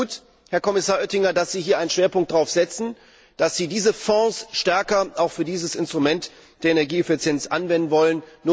Ich finde es gut, Herr Kommissar Oettinger, dass Sie hier einen Schwerpunkt setzen, dass Sie diese Fonds stärker auch für dieses Instrument der Energieeffizienz einsetzen wollen.